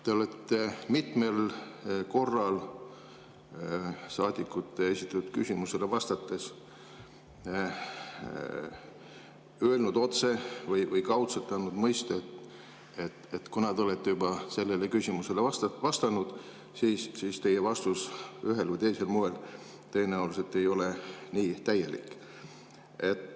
Te olete mitmel korral saadikute esitatud küsimustele vastates öelnud otse või kaudselt andnud mõista, et kuna te olete juba sellele küsimusele vastanud, siis teie vastus ühel või teisel moel tõenäoliselt ei ole nii täielik.